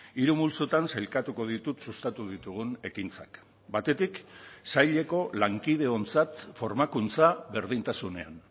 hiru multzotan sailkatuko ditut sustatu ditugun ekintzak batetik saileko lankideontzat formakuntza berdintasunean